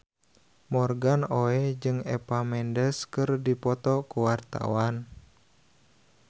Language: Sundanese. Morgan Oey jeung Eva Mendes keur dipoto ku wartawan